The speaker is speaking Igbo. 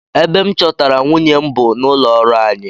Ebe m chọtara nwunye m bụ n'ụlọọrụ anyi